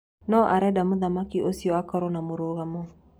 No arenda mũthaki ũcio akorwo na mũrugamo